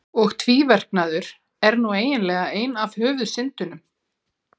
Og tvíverknaður er nú eiginlega ein af höfuðsyndunum.